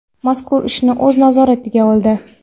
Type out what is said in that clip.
mazkur ishni o‘z nazoratiga oldi.